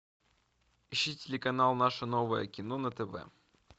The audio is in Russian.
ищи телеканал наше новое кино на тв